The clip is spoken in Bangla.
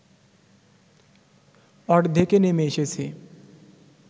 অর্ধেকে নেমে এসেছে